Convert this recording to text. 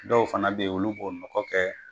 Dɔw fana bɛ yen, olu bɔ nɔgɔ kɛ